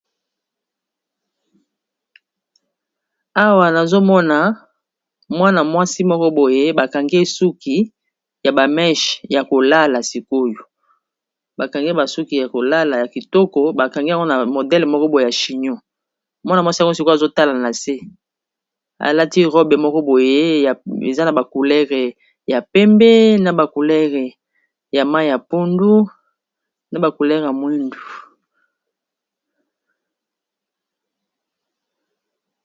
Awa nazomona MWAna mwansi Moko boye bakangi suki Yaba meshes Yako lala